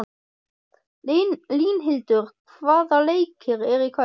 Línhildur, hvaða leikir eru í kvöld?